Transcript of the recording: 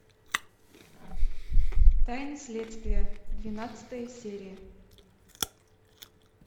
тайны следствия двенадцатая серия